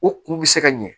O kun bɛ se ka ɲɛ